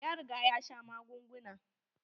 Ya riga ya sha magunguna.